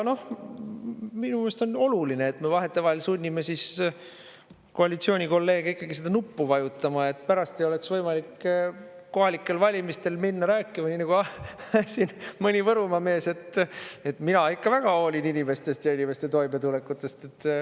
Minu meelest on oluline, et me vahetevahel sunnime koalitsiooni kolleege seda nuppu vajutama, et pärast ei oleks võimalik kohalikel valimistel minna rääkima, nii nagu siin mõni Võrumaa mees, et mina ikka väga hoolin inimestest ja inimeste toimetulekust.